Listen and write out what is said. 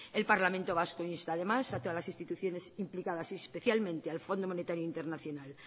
el parlamento vasco insta además a todas las instituciones implicadas y especialmente al fondo monetario internacional